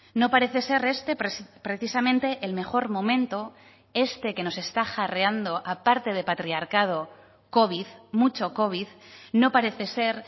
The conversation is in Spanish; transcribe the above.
no parece ser este precisamente el mejor momento este que nos está jarreando aparte de patriarcado covid mucho covid no parece ser